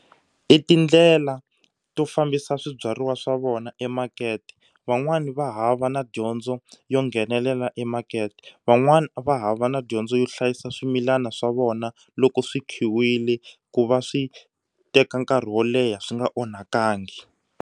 I tindlela to fambisa swibyariwa swa vona emakete van'wani va hava na dyondzo yo nghenelela emakete van'wani va hava na dyondzo yo hlayisa swimilana swa vona loko swi khiwile ku va swi teka nkarhi wo leha swi nga onhakangi.